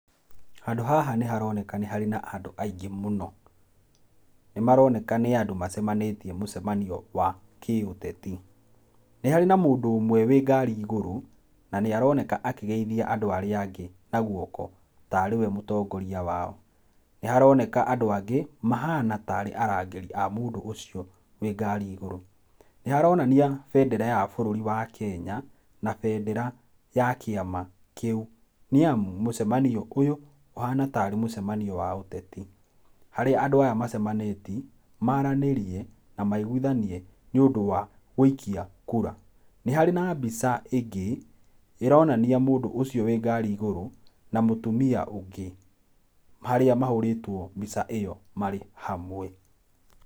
Handũ haha nĩharoneka nĩ harĩ na andũ aingĩ mũno. Nĩmaroneka macemanĩtie mũcemanio wa kĩũteti. Nĩ hari na mũndũ ũmwe wĩ ngari igũrũ, na nĩaroneka akĩgeithia andũ arĩa angi na guoko tarĩwe mũtongoria wao. Nĩharoneka andũ angĩ mahana tarĩ arangĩri a mũndũ ũcio wĩ ngari igũrũ. Nĩharonania bendera ya bũrũri wa Kenya na bendera ya kiama kĩũ, nĩamu mũcemanio ũyũ ũhana tarĩ mũcemanio wa ũteti, harĩa andũ aya macamanĩti, maranĩrie na maiguithanie nĩũndũ wa gũikia kura. Nĩ harĩ na mbica ĩngĩ ĩronania mũndũ ũcio wĩ ngari igũrũ na mũtumia ũngĩ harĩa mahũrĩtwo mbica ĩyo marĩ hamwe.